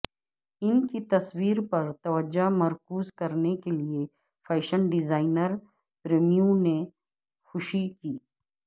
ان کی تصویر پر توجہ مرکوز کرنے کے لئے فیشن ڈیزائنر پریمیوں نے خوشی کی